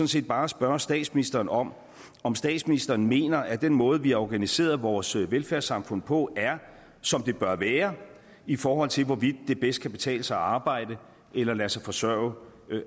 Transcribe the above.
set bare spørge statsministeren om om statsministeren mener at den måde som vi har organiseret vores velfærdssamfund på er som den bør være i forhold til hvorvidt det bedst kan betale sig at arbejde eller at lade sig forsørge